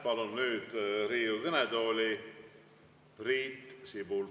Palun nüüd Riigikogu kõnetooli Priit Sibula.